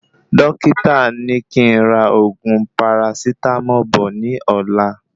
Dókítà ní kí n rà oògùn parasitámọ̀ bọ̀ ní ọ̀la